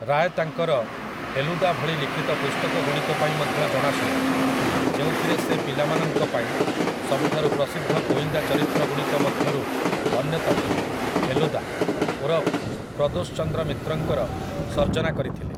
ରାୟ ତାଙ୍କର 'ଫେଲୁଦା' ଭଳି ଲିଖିତ ପୁସ୍ତକଗୁଡ଼ିକ ପାଇଁ ମଧ୍ୟ ଜଣାଶୁଣା, ଯେଉଁଥିରେ ସେ ପିଲାମାନଙ୍କ ପାଇଁ ସବୁଠାରୁ ପ୍ରସିଦ୍ଧ ଗୋଇନ୍ଦା ଚରିତ୍ରଗୁଡ଼ିକ ମଧ୍ୟରୁ ଅନ୍ୟତମ, ଫେଲୁଦା, ଓରଫ୍, 'ପ୍ରଦୋଷ ଚନ୍ଦ୍ର ମିତ୍ର'ଙ୍କର ସର୍ଜନା କରିଥିଲେ ।